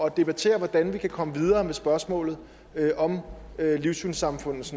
at debattere hvordan vi kan komme videre med spørgsmålet om livssynssamfundenes